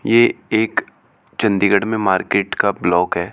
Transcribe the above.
यह एक चंडीगढ़ में मार्केट का ब्लॉक है।